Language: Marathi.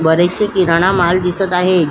बरेच शे किराणा माल दिसत आहे.